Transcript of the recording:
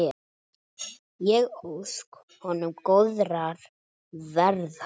Ég óska honum góðrar ferðar.